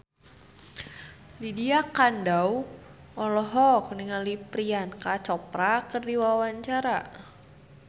Lydia Kandou olohok ningali Priyanka Chopra keur diwawancara